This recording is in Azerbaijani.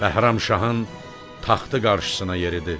Bəhramşahın taxtı qarşısına yeridi.